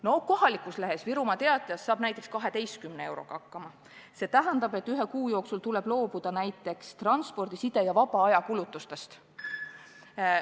No kohalikus lehes, Virumaa Teatajas näiteks, saab 12 euroga hakkama, mis tähendab, et ühe kuu jooksul tuleb loobuda näiteks transpordi-, side- ja vabaajakulutustest.